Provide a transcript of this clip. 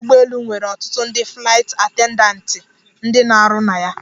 Ọdụ ụgbọelu nwere ọtụtụ ndị flaịt attendatị ndị na-arụ na ya.